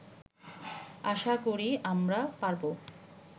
আশা করি আমরা পারবো